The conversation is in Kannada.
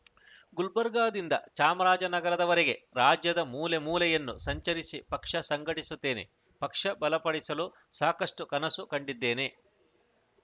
ಗುಲ್ಬರ್ಗಾದಿಂದ ಚಾಮರಾಜನಗರದವರೆಗೆ ರಾಜ್ಯದ ಮೂಲೆ ಮೂಲೆಯನ್ನು ಸಂಚರಿಸಿ ಪಕ್ಷ ಸಂಘಟಿಸುತ್ತೇನೆ ಪಕ್ಷ ಬಲಪಡಿಸಲು ಸಾಕಷ್ಟುಕನಸು ಕಂಡಿದ್ದೇನೆ